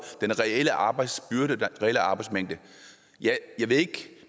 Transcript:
den reelle arbejdsbyrde og den reelle arbejdsmængde